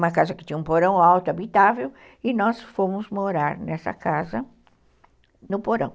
Uma casa que tinha um porão alto, habitável, e nós fomos morar nessa casa no porão.